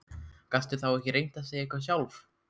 Gastu þá ekki reynt að segja eitthvað sjálf?